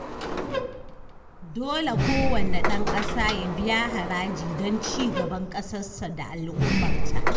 Dole kowanne ɗan ƙasa ya biya haraji don ci gaban ƙasarsa da al'ummarta